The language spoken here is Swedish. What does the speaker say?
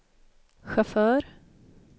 chaufför